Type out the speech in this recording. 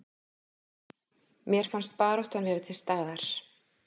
Mér fannst baráttan vera til staðar